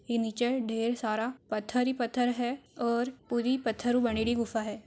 ई नीचे ढेर सारा पत्थर ही पत्थर है और पूरी पत्थर बनुड़ी गुफा है।